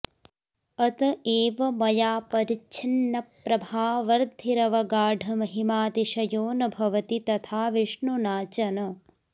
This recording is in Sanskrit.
अतएव मया परिच्छिन्नप्रभावर्द्धिरवगाढमहिमातिशयो नभवति तथा विष्णुना च न